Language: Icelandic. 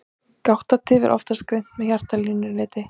Gáttatif er oftast greint með hjartalínuriti.